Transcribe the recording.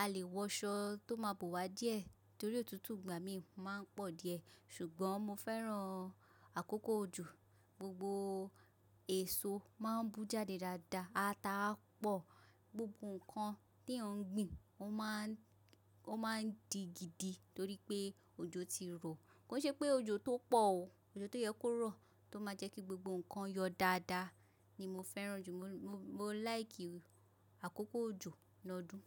a lè wọṣọ tó máa bo wa díẹ̀ torí òtútù ìgbà mí ma ń pọ̀ díẹ̀. Ṣùgbọ́n mo fẹ́ràn àkókò òjò, gbogbo èso ma ń bú jáde dáadáa, ata á pọ̀, gbogbo nǹkan tí eeyan ń gbìn ó ma ń, ó ma ń di gidi torí pé òjò ti rọ̀. Kò ṣe pé òjò tó pọ̀ o, òjò tó yẹ kó rọ̀ tó máa jẹ́ kí gbogbo nǹkan yọ dáadáa ni mo fẹ́ràn jù. Mo, mo like àkókò òjò lọ́dún.